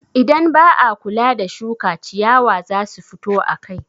Idan ba a kula da shuka, ciyawa za su fito akai.